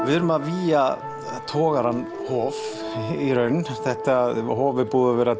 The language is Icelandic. við erum að vígja togarann Hof hof er búið að vera